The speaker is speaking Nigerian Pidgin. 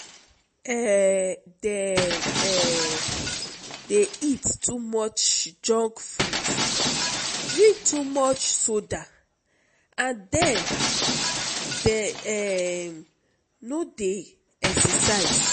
um dem um dey eat too much junk food drink too much soda and dem um no dey exercise.